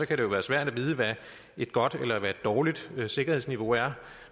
kan det være svært at vide hvad et godt eller dårligt sikkerhedsniveau er